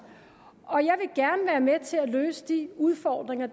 jeg være med til at løse de udfordringer